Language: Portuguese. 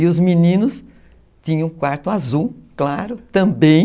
E os meninos tinham um quarto azul claro também,